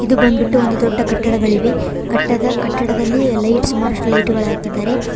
ಇದು ಬಂದ್ಬಿಟ್ಟು ಒಂದು ದೊಡ್ಡ ಕಟ್ಟಡಗಳಿವೆ ಕಟ್ಟದ ಕಟ್ಟಡದಲ್ಲಿ ಲೈಟ್ಸ್ ಸುಮಾರಷ್ಟು ಲೈಟುಗಳು ಹಾಕಿದ್ದಾರೆ.